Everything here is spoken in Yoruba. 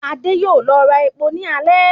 Adé yóò lọ ra epo náà ní alẹ́